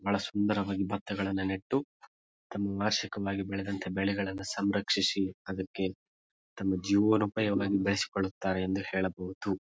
ಬಹಳ ಸುಂದರವಾಗಿ ಬತ್ತಗಳನ್ನ ನೆಟ್ಟು ತಮ್ಮ ವಾರ್ಷಿಕವಾಗಿ ಬೆಳೆದಂತ ಬೆಳೆಗಳನ್ನಾ ಸಂರಕ್ಷಿಸಿ ಅದಕ್ಕೆ ತಮ್ಮ ಜೀವನೋಪಾಯವಾಗಿ ಬೆಳೆಸಿಕೊಳ್ಳುತ್ತಾರೆ ಎಂದು ಹೇಳಬಹುದು.